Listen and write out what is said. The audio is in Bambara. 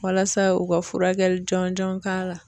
Walasa u ka furakɛli jɔnjɔn k'a la.